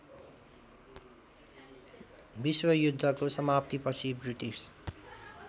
विश्वयुद्धको समाप्तीपछि ब्रिटिस